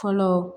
Fɔlɔ